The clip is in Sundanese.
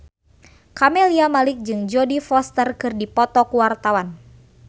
Camelia Malik jeung Jodie Foster keur dipoto ku wartawan